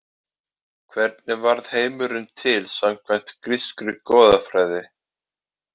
Hvernig varð heimurinn til samkvæmt grískri goðafræði?